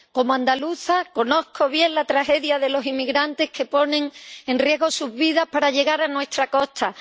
Como andaluza, conozco bien la tragedia de los inmigrantes que ponen en riesgo sus vidas para llegar a nuestras costas.